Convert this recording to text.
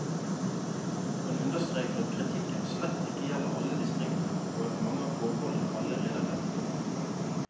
Han understreker at kritikken slett ikke gjelder alle distriktene, og at mange av forholdene allerede er rettet opp.